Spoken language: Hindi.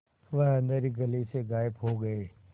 वह अँधेरी गली से गायब हो गए